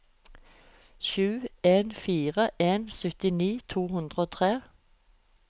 sju en fire en syttini to hundre og tre